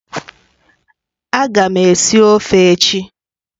Ága m esi ofe echi.